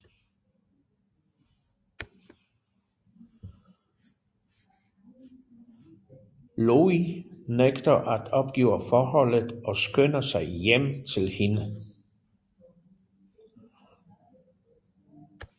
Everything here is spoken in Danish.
Louie nægter at opgive forholdet og skynder sig hjem til hende